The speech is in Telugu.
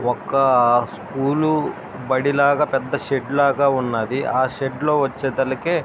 ఒక స్కూల్ బడి లాగా పెద్ద షెడ్ లాగా ఉన్నది ఆ షెడ్ లో వచ్చాదుకే --